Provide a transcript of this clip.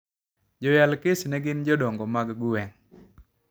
Jo yal kes no gin jodongo mag gwenge